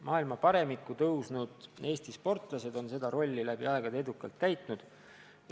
Maailma paremikku tõusnud Eesti sportlased on seda rolli läbi aegade edukalt täitnud.